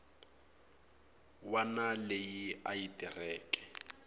wana leyi a yi tirheke